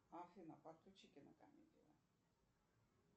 афина подключи кинокомедию